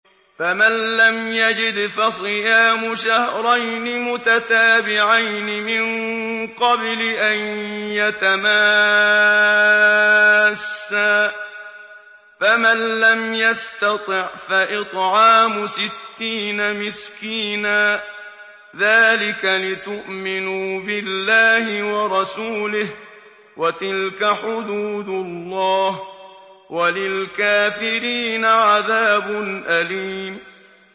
فَمَن لَّمْ يَجِدْ فَصِيَامُ شَهْرَيْنِ مُتَتَابِعَيْنِ مِن قَبْلِ أَن يَتَمَاسَّا ۖ فَمَن لَّمْ يَسْتَطِعْ فَإِطْعَامُ سِتِّينَ مِسْكِينًا ۚ ذَٰلِكَ لِتُؤْمِنُوا بِاللَّهِ وَرَسُولِهِ ۚ وَتِلْكَ حُدُودُ اللَّهِ ۗ وَلِلْكَافِرِينَ عَذَابٌ أَلِيمٌ